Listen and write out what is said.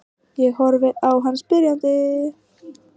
Ég horfi á hann spyrjandi.